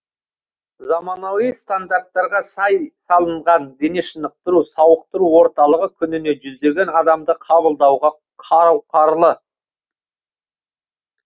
заманауи стандарттарға сай салынған дене шынықтыру сауықтыру орталығы күніне жүздеген адамды қабылдауға қауқарлы